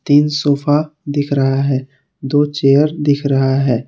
तीन सोफा दिख रहा है दो चेयर दिख रहा है।